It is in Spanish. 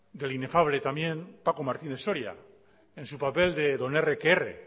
del inefable también paco martínez soria en su papel de don erre que erre